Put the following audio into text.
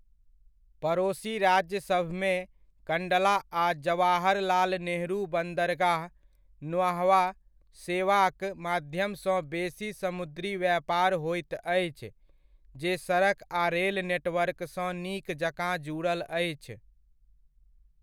पड़ोसि राज्यसभमे कण्डला आ जवाहरलाल नेहरू बन्दरगाह, न्हावा शेवा'क माध्यमसँ बेसी समुद्री व्यापार होइत अछि, जे सड़क आ रेल नेटवर्कसँ नीक जकाँ जुड़ल अछि।